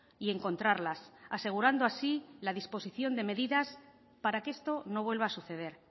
y encontrarlas asegurando así la disposición de medidas para que esto no vuelva a suceder